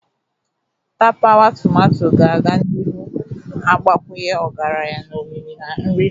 Tapawa tomato ga-aga n'ihu na-agbakwunye ọgaranya na omimi na nri pasta.